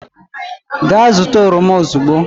gaa zụta oroma ozugbo!